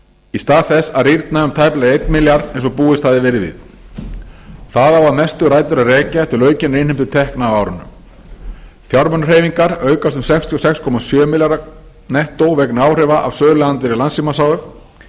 í stað þess að rýrna um tæplega einni milljón eins og búist hafði verið við það á að mestu rætur að rekja til aukinnar innheimtu tekna á árinu fjármunahreyfingar aukast um sextíu og sex komma sjö milljarða nettó vegna áhrifa frá söluandvirðis landssímans h f